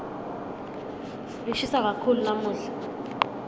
lishisa kakhulu lamuhla